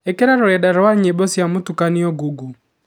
ikira rurenda rwa nyimbo cia mũtukanio google